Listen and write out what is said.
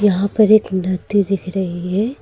यहां पर एक लड़की दिख रही है।